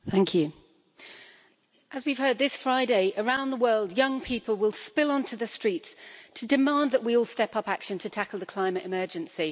Mr President, as we've heard, this Friday, around the world young people will spill on to the streets to demand that we all step up action to tackle the climate emergency.